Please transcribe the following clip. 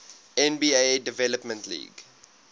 nba development league